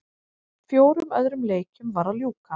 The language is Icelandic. Fjórum öðrum leikjum var að ljúka